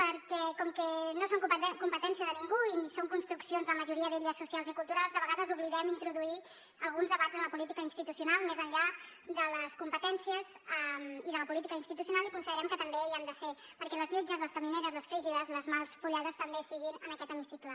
perquè com que no són competència de ningú i són construccions la majoria d’elles socials i culturals de vegades oblidem introduir alguns debats en la política institucional més enllà de les competències i de la política institucional i considerem que també hi han de ser perquè les lletges les camioneres les frígides les mal follades també siguin en aquest hemicicle